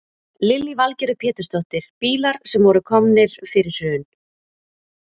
Lillý Valgerður Pétursdóttir: Bílar sem voru komnir fyrir hrun?